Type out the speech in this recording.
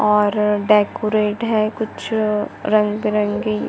और डेकोरेट है कुछ रंग-बिरंगी--